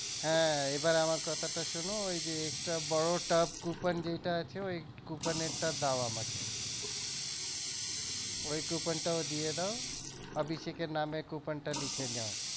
হ্যা এবার আমার কথাটা শোনো ওই যে extra বড় টাব coupon যেইটাআছে ওই coupon এর টা দাও আমাকে ওই coupon টাও দিয়ে দাও অভিষেক এর নামে coupon টা লিখে নাও।